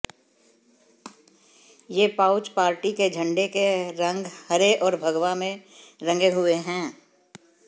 ये pouch party के झंडे के रंग हरे और भगवा में रंगे हुए हैं